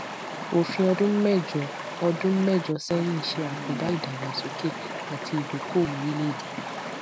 òfin ọdún méjọ ọdún méjọ sẹyìn ṣe àkóbá ìdàgbàsókè àti ìdókòòwò orílẹèdè